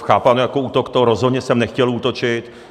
chápáno jako útok, to rozhodně jsem nechtěl útočit.